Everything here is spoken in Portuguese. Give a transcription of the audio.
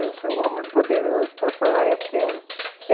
Eu sou um homem poderoso, pode falar, eu quero.